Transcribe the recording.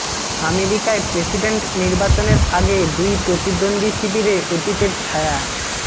আমেরিকায় প্রেসিডেন্ট নির্বাচনের আগে দুই প্রতিদ্বন্দ্বী শিবিরে অতীতের ছায়া